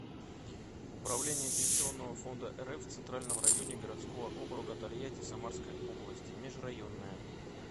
управление пенсионного фонда рф в центральном районе городского округа тольятти самарской области межрайонное